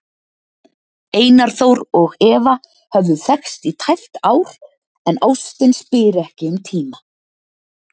Einar Þór og Eva höfðu þekkst í tæpt ár, en ástin spyr ekki um tíma.